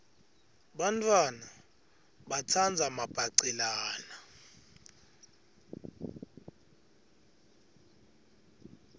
bantfwana batsandza mabhacelana